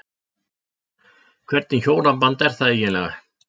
Hvernig hjónaband er það eiginlega?